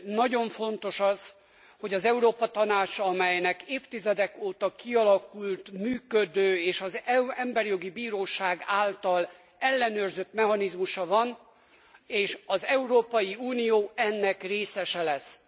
Nagyon fontos az, hogy az Európa Tanács, amelynek évtizedek óta kialakult működő és az Emberi Jogi Bíróság által ellenőrzött mechanizmusa van, és az Európai Unió ennek részese lesz.